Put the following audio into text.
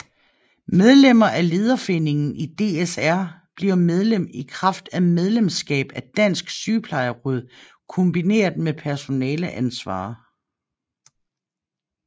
Medlemmer af Lederforeningen i DSR bliver medlem i kraft af medlemskab af Dansk Sygeplejeråd kombineret med personaleansvar